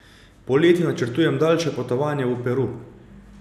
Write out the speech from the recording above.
Poleti načrtujem daljše potovanje v Peru.